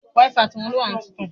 súútì ni Bọlá máa pin níbi ìkómọ rẹ̀